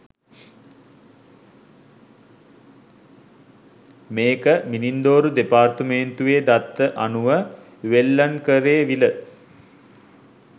මේක මිනින්දෝරු දෙපාර්තුමේන්තුවේ දත්ත අනුව වෙල්ලන්කරේ විල.